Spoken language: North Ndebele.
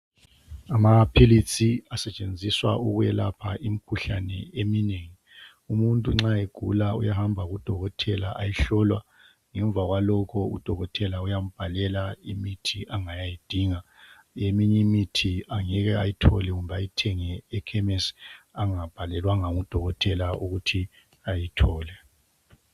Amaphilitsi asetshenziswa ukwelapha imikhuhlane eminengi. Umuntu nxa egula, uyahamba kudokothela, ayehlolwa. Ngemva kwalokho udokothela uyambhalela imithi angayayidinga. Eminye imithi angeke ayethole kumbe ayithenge ekhemesi, angabhalelwanga ngudokothela ukuthi ayithole..